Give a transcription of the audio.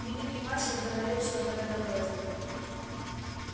великий мастер говорил что-то в этом роде